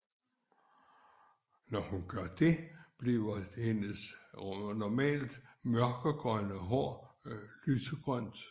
Når hun gør det bliver hendes normalt mørkegrønne hår lysegrønt